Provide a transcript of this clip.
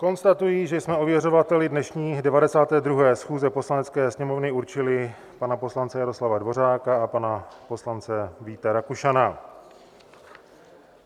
Konstatuji, že jsme ověřovateli dnešní 92. schůze Poslanecké sněmovny určili pana poslance Jaroslava Dvořáka a pana poslance Víta Rakušana.